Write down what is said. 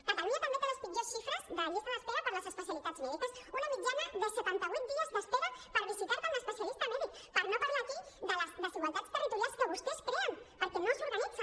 catalunya també té les pitjors xifres de llista d’espera per les especialitats mèdiques una mitjana de setanta vuit dies d’espera per visitar te amb l’especialista mèdic per no parlar aquí de les desigualtats territorials que vostès creen perquè no s’organitzen